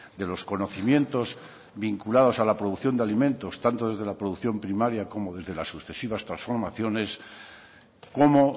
de los conocimientos vinculados a la producción de alimentos tanto desde la producción primaria como desde las sucesivas transformaciones como